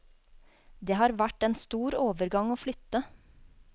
Det har vært en stor overgang å flytte.